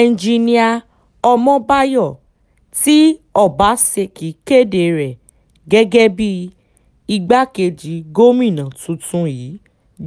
ẹnjinnìá ọmọbáyọ tí ọbaṣẹ́kí kéde rẹ̀ gẹ́gẹ́ bíi igbákejì gómìnà tuntun yìí